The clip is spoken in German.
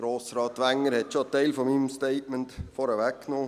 Grossrat Wenger hat einen Teil meines Statements schon vorweggenommen.